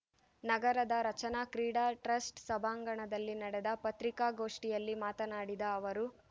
ನಗರದ ರಚನಾ ಕ್ರೀಡಾ ಟ್ರಸ್ಟ್‌ ಸಭಾಂಗಣದಲ್ಲಿ ನಡೆದ ಪತ್ರಿಕಾಗೋಷ್ಠಿಯಲ್ಲಿ ಮಾತನಾಡಿದ ಅವರು